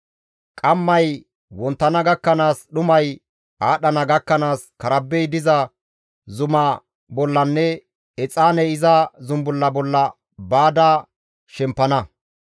Qammay wonttana gakkanaas, dhumay aadhdhana gakkanaas karbbey diza zuma bollanne exaaney iza zumbulla bolla baada shempana.